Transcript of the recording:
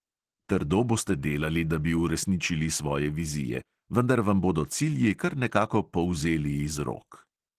Trdo boste delali, da bi uresničili svoje vizije, vendar vam bodo cilji kar nekako polzeli iz rok.